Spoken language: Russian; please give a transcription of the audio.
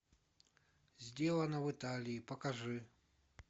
сделано в италии покажи